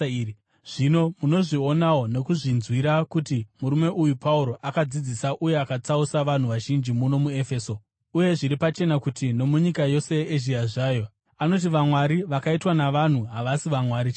Zvino munozvionawo nokuzvinzwira kuti murume uyu Pauro akadzidzisa uye akatsausa vanhu vazhinji muno muEfeso, uye zviri pachena kuti nomunyika yose yeEzhia zvayo, anoti vamwari vakaitwa navanhu havasi vamwari chaivo.